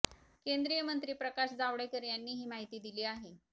केंद्रीय मंत्री प्रकाश जावडेकर यांनी ही माहिती दिली आहे